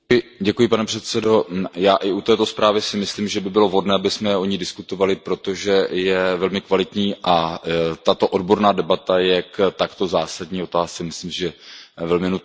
Pane předsedající, já i u této zprávy si myslím, že by bylo vhodné, abychom o ní diskutovali, protože je velmi kvalitní a tato odborná debata je k takto zásadní otázce, myslím, velmi nutná.